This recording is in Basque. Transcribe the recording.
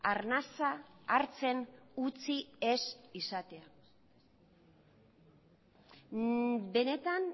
arnasa hartzen utzi ez izatea benetan